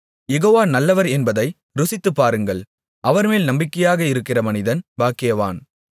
யெகோவா நல்லவர் என்பதை ருசித்துப்பாருங்கள் அவர்மேல் நம்பிக்கையாக இருக்கிற மனிதன் பாக்கியவான்